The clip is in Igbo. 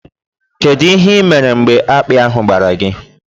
Kedu ihe ị mere mgbe akpị ahụ gbara gị?